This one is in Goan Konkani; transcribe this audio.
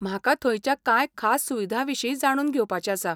म्हाका थंयच्या कांय खास सुविधांविशीं जाणून घेवपाचें आसा.